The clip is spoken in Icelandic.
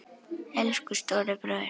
Elsku stóri bróðir!